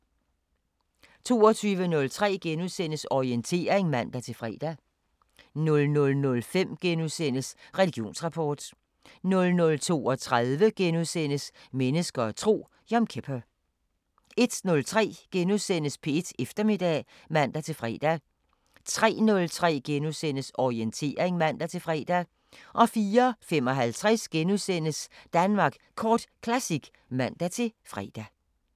22:03: Orientering *(man-fre) 00:05: Religionsrapport * 00:32: Mennesker og tro: Yom kippur * 01:03: P1 Eftermiddag *(man-fre) 03:03: Orientering *(man-fre) 04:55: Danmark Kort Classic *(man-fre)